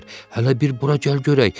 Hələ bir bura gəl görək.